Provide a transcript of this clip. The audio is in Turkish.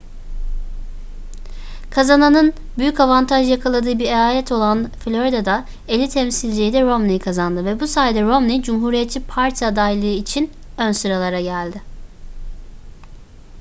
kazananın büyük avantaj yakaladığı bir eyalet olan florida'da elli temsilciyi de romney kazandı ve bu sayede romney cumhuriyetçi parti adaylığı için ön sıralara geldi